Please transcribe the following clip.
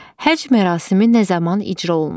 Həcc mərasimi nə zaman icra olunur?